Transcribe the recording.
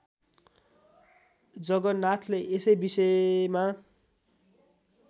जगन्नाथले यसै विषयमा